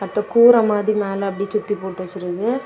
அத கூற மாதிரி மேல அப்புடியே சுத்தி போட்டு வெச்சிருக்காங்க.